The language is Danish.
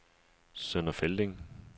Sønder Felding